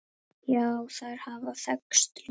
Já, þær hafa þekkst lengi.